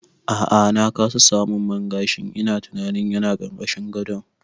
A'a na kasa samun man gashin, ina tunanin yana ƙarƙashin gado